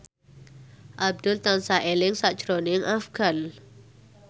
Abdul tansah eling sakjroning Afgan